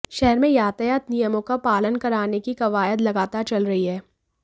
शहर में यातायात नियमों का पालन कराने की कवायद लगातार चल रही है